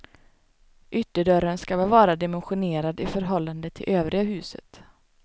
Ytterdörren ska vara väl dimensionerad i förhållande till övriga huset.